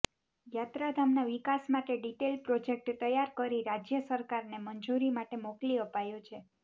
યાત્રાધામના વિકાસ માટે detail project તૈયાર કરી રાજ્ય સરકારને મંજૂરી માટે મોકલી આપાયો છે